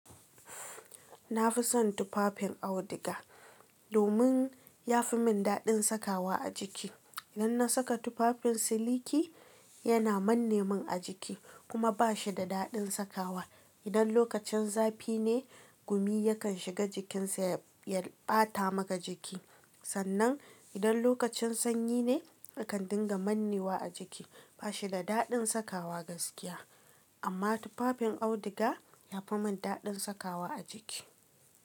Na fi son tufafin auduga domin ya fi min daɗin sakawa a jiki. Idan na saka tufafin siliki yana manne min a jiki kuma ba shi da daɗin sakawa. Idan lokacin zafi ne, gumi yakan shiga jikinsa ya ɓata maka jiki. Sannan idan lokacin sanyi ne, yakan dinga manne wa a jiki. Ba shi da daɗin sakawa gaskiya. Amma tufafin auduga ya fi min daɗin sakawa a jiki.